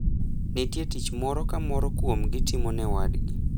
Nitie tich moro ka moro kuomgi timo ne wadgi.